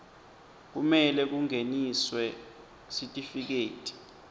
kumele kungeniswe sitifiketi